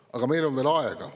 Aga meil on veel aega.